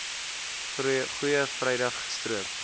goeie vrydag gestroop